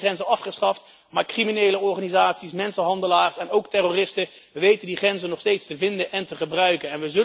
We hebben die binnengrenzen afgeschaft, maar criminele organisaties, mensenhandelaars en ook terroristen weten die grenzen nog steeds te vinden en te gebruiken.